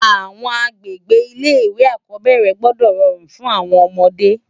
Awòn agbégbé ilé iwé ákòbèrè gbòdò ròrún fún áwòn òmòdé